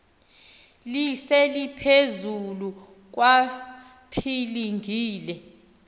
lise liphezulu kwapilingile